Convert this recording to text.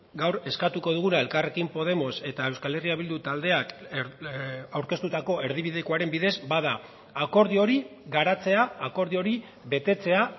gaur eskatuko duguna elkarrekin podemos eta euskal herria bildu taldeak aurkeztutako erdibidekoaren bidez bada akordio hori garatzea akordio hori betetzea